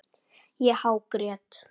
Ég hágrét.